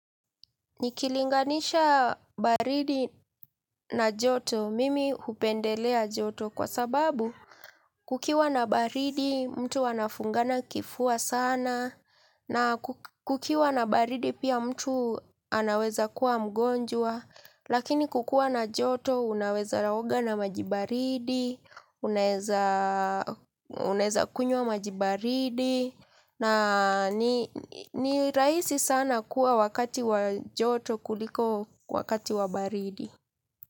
Nikilinganisha baridi na joto mimi hupendelea joto kwa sababu kukiwa na baridi mtu anafungana kifua sana na kukiwa na baridi pia mtu anaweza kuwa mgonjwa. Lakini kukua na joto unaweza oga na maji baridi, unaeza kunywa maji baridi na ni rahisi sana kuwa wakati wa joto kuliko wakati wa baridi.